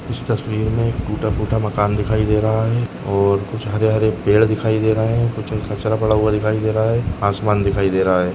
इस तस्वीर में एक टूटा फुटा मकान दिखाई दे रहा है और कुछ हरे हरे पेड़ दिखाई दे रहे है कुछ कचरा पड़ा हुआ दिखाई दे रहा है आसमान दिखाई दे रहा है।